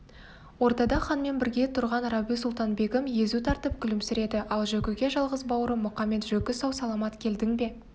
ордада ханмен бірге тұрған рабиу-сұлтан-бегім езу тартып күлімсіреді ал жөкіге жалғыз бауырым мұқамет-жөкі сау-саламат келдің бе